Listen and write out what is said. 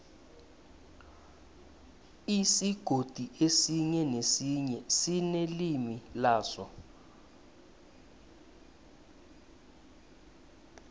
isigodi esinye nesinye sinelimi laso